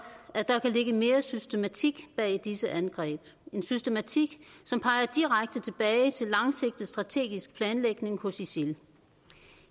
at der kan ligge mere systematik bag disse angreb en systematik som peger direkte tilbage til en langsigtet strategisk planlægning hos isil